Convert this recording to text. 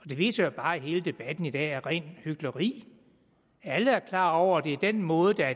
det viser jo bare at hele debatten i dag er rent hykleri alle er klar over at det er den måde der